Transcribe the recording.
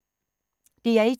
DR1